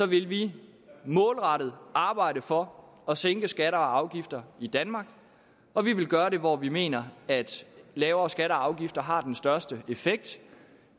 vil vi målrettet arbejde for at sænke skatter og afgifter i danmark og vi vil gøre det hvor vi mener at lavere skatter og afgifter har den største effekt